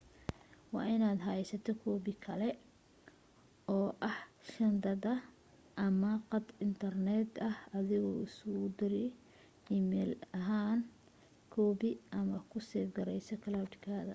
waa in aad heysata koobi kale oo ah shandada ah iyo qad intarneet ah adigu isugu dir e-mail ahaan koobiga ama ku seef gareyso cloud ka”